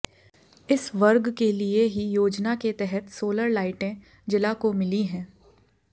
इस वर्ग के लिए ही योजना के तहत सोलर लाइटें जिला को मिली हैं